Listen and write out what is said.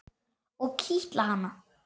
Og kitla hana.